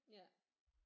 Ja